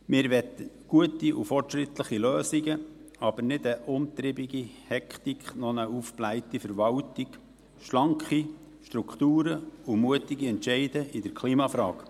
Wir wollen gute und fortschrittliche Lösungen, aber keine umtriebige Hektik, keine aufgeblähte Verwaltung, sondern schlanke Strukturen und mutige Entscheide in der Klimafrage.